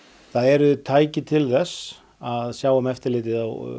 það eru tæki til þess að sjá um eftirlitið